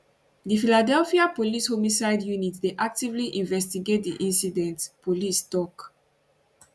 di philadelphia police homicide unit dey actively investigate di incident police tok